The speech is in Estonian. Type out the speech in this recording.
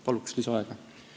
Paluks lisaaega!